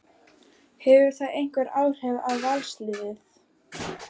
Hefur það einhver áhrif á Valsliðið?